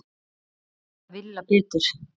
Þar hafði Villa betur.